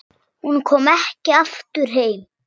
Hún kom ekki aftur heim.